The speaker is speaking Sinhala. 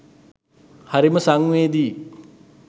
හරිම සංවේදීයි!